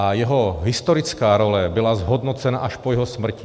A jeho historická role byla zhodnocena až po jeho smrti.